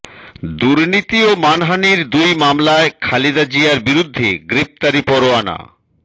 দুর্নীতি ও মানহানির দুই মামলায় খালেদা জিয়ার বিরুদ্ধে গ্রেপ্তারি পরোয়ানা